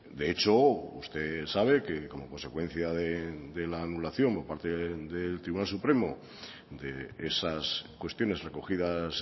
de hecho usted sabe que como consecuencia de la anulación o parte del tribunal supremo de esas cuestiones recogidas